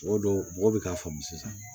Mɔgɔ dɔw mɔgɔ bɛ k'a faamu sisan